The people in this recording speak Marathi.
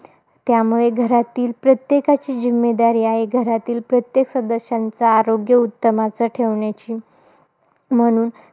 त्यामुळे घरातील प्रत्येकाची जिम्मेदारी आहे, घरातील प्रत्येक सदस्यांचा आरोग्य उत्तमाच ठेवण्याची. म्हणून